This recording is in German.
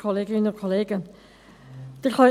Kommissionssprecherin der FiKo.